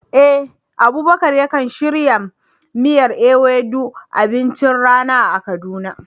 Eh, Abubakar yakan shirya miyar Ewedu abincin rana a Kaduna.